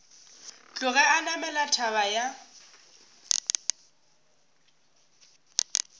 tloge a namela thaba ya